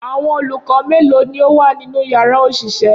Awọn olukọ melo ni o wa ninu yara oṣiṣẹ